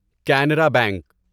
Canara bank